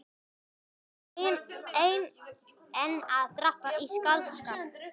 Ert þú enn að drabba í skáldskap?